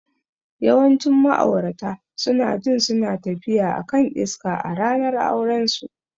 Yawancin ma'aurata suna jin suna tafiya a kan iska a ranar aurensu.